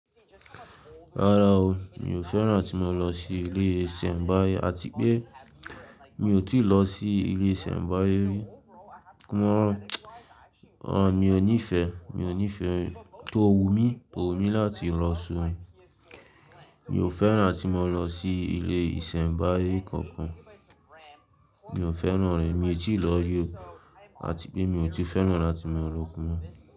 Rárá o, mi ò fẹ́ràn tí mo lọ sí ilé ìsẹ̀mbáyé àti pé mi ò tíì lọ sí ilé ìsẹ̀mbáyé ri. Mi ò nífẹ̀ẹ́, mi ò nífẹ̀ẹ́, tò wù mí, tò wù mí láti lọ sun. Mi ò fẹ́ràn tí mo lọ sí ilé ìsẹ̀mbáyé kankan. Mi ò fẹ́ràn rẹ̀. Mi ò tíì lọ rí òun àti pé mi ò tí fẹ́ràn láti máa lọ kún un.